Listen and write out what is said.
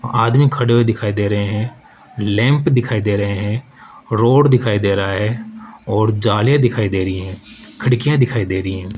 आदमी खड़े हुए दिखाई दे रहे हैं लैंप दिखाई दे रहे हैं रोड दिखाई दे रहा हैं और जाले दिखाई दे रही है खिड़कियां दिखाई दे रही हैं।